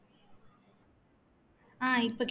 ஹம் இப்போ